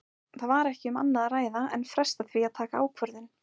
Það var ekki um annað að ræða en fresta því að taka ákvörðun.